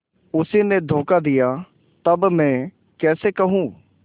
उसी ने धोखा दिया तब मैं कैसे कहूँ